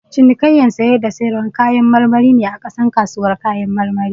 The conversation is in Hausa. Cinikayyan saye da sayarwar kayan marmari ne a ka san kasuwar kayan marmari.